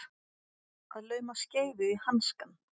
Að lauma skeifu í hanskann